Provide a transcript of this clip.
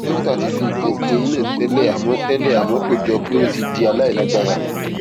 dókítà ti fi nǹkan di eyín náà tẹlẹ àmọ tẹlẹ àmọ kò jọ pé ó ti di aláìlágbára